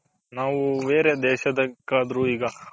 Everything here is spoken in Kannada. ನಾವು ಬೇರೆ ದೇಶ